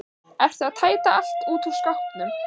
Ertu að tæta allt út úr skápnum?